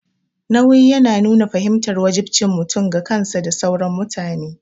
Nauyi yana nuna fahimtar wajibcin mutum ga kansa da sauran mutane.